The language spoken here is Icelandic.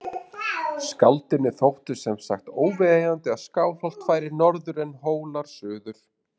Skáldinu þótti sem sagt óviðeigandi að Skálholt færi norður en Hólar suður.